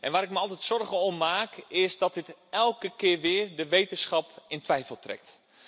Waar ik me altijd zorgen om maak, is dat dit elke keer weer de wetenschap in twijfel trekt.